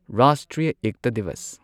Rashtriya Ekta Diwas